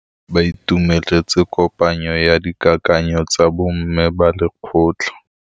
Ba itumeletse kôpanyo ya dikakanyô tsa bo mme ba lekgotla.